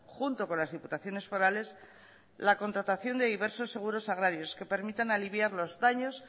junto con las diputaciones forales la contratación de diversos seguros agrarios que permitan aliviar los daños